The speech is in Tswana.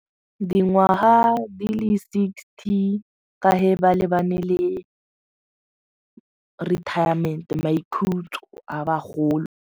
Dingwaga di le sixty ka ge ba lebane le retirement maikhutšo a bagolo.